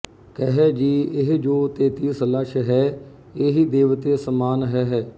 ਕਹੈ ਜੀ ਇਹ ਜੋ ਤੇਤੀਸ ਲਛ ਹੈ ਏਹੀ ਦੇਵਤੇ ਸਮਾਨਿ ਹਹਿ